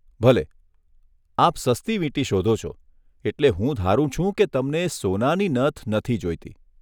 ભલે, આપ સસ્તી વીંટી શોધો છો, એટલે હું ધારું છું કે તમને સોનાની નથ નથી જોઈતી.